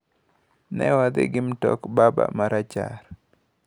Newadhi kod mtok baba marachar.